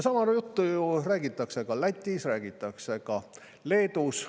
Sama juttu räägitakse ju ka Lätis, räägitakse Leedus.